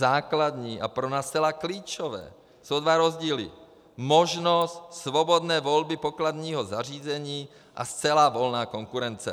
Základní a pro nás zcela klíčové jsou dva rozdíly: možnost svobodné volby pokladního zařízení a zcela volná konkurence.